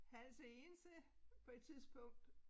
Hals Egense på et tidspunkt